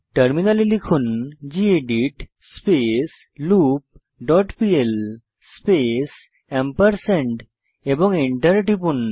টার্মিনালে লিখুন gedit space loop dot pl space এবং এন্টার টিপুন